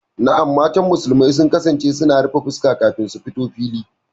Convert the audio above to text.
Na'am, mata musulmi sun kasance suna rufe fuska kafin su fito fili.